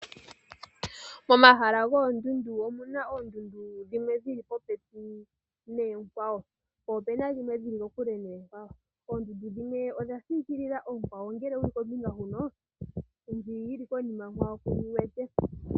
Momahala goondundu omu na oondundu dhimwe dhi li popepi noonkwawo, po opena dhimwe dhi li kokule noonkwawo. Oondundu dhimwe odha sikilila oonkwawo ngele wu li kombinga huno, ndjoka yi li konima yonkwawo kuyi wete.